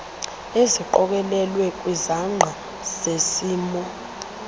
eziqokelelwe kwizangqa zesimo